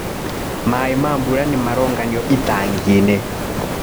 Maĩ ma mbura maronganio itanginĩ.